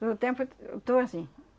Todo tempo eu t eu estou assim.